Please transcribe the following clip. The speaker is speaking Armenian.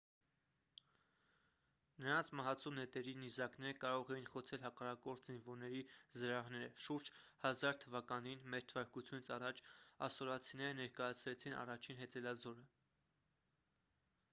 նրանց մահացու նետերի նիզակները կարող էին խոցել հակառակորդ զինվորների զրահները շուրջ 1000 թվականին մ թ ա ասորացիները ներկայացրեցին առաջին հեծելազորը